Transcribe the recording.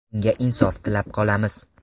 Unga insof tilab qolamiz.